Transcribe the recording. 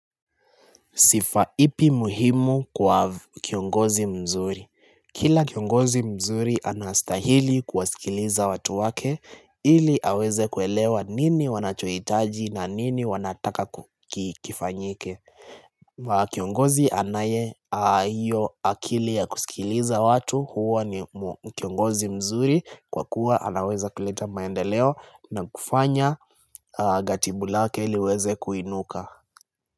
Sifa ipi muhimu kwa kiongozi mzuri. Kila kiongozi mzuri anastahili kuwasikiliza watu wake ili aweze kuelewa nini wanachohitaji na nini wanataka kifanyike. Kiongozi anaye hiyo akili ya kusikiliza watu huwa ni kiongozi mzuri kwa kuwa anaweza kuleta maendeleo na kufanya gatibu lake liweze kuinuka.